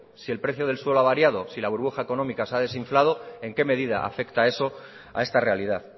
si el precio del suelo ha variado si la burbuja económica se ha desinflado en qué medida afecta eso a esta realidad